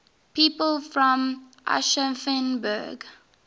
people from aschaffenburg